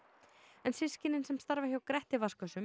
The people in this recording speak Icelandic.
en systkinin sem starfa hjá Gretti